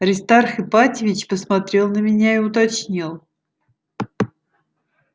аристарх ипатьевич посмотрел на меня и уточнил